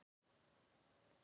Mörg stjörnumerki eru ævaforn.